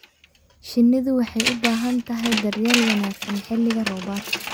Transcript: Shinnidu waxay u baahan tahay daryeel wanaagsan xilliga roobaadka.